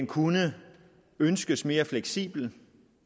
kunne ønskes mere fleksibel